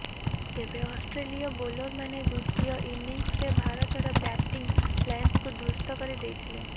ତେବେ ଅଷ୍ଟ୍ରେଲୀୟ ବୋଲର ମାନେ ଦ୍ୱିତୀୟ ଇନିଙ୍ଗସରେ ଭାରତର ବ୍ୟାଟିଂ ଲାଇନ୍କୁ ଧ୍ୱସ୍ତ କରି ଦେଇଥଲେ